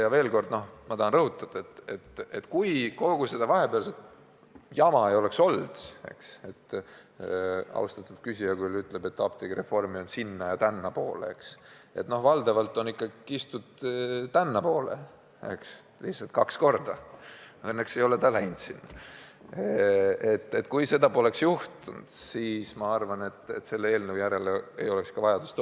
Ja veel kord ma tahan rõhutada: kui kogu seda vahepealset jama ei oleks olnud – austatud küsija küll ütleb, et apteegireformi arutelu on kaldunud sinna- ja tännapoole, aga valdavalt on seda ikka kistud tännapoole, koguni kaks korda, õnneks see sinna ei ole läinud –, kui seda poleks olnud, siis poleks vajadust selle eelnõu järele tekkinud.